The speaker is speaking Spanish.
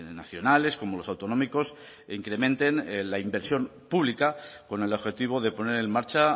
nacionales como los autonómicos incrementen la inversión pública con el objetivo de poner en marcha